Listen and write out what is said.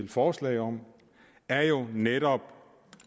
forslag om er jo netop